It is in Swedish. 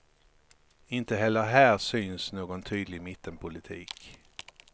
Inte heller här syns någon tydlig mittenpolitik.